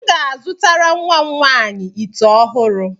M ga-azụtara nwa m nwaanyị ite ọhụrụ.